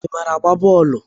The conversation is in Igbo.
Ị maara agba bọọlu?